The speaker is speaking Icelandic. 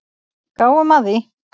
Gáum að því.